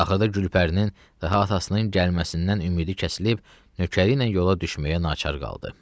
Axırda Gülpərinin də atasının gəlməsindən ümidi kəsilib, nökəri ilə yola düşməyə naçar qaldı.